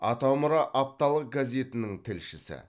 атамұра апталық газетінің тілшісі